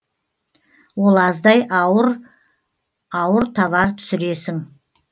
ол аздай ауыр ауыр товар түсіресің